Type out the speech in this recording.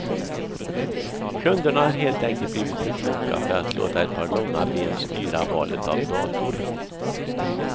Kunderna har helt enkelt blivit för kloka för att låta ett par långa ben styra valet av dator.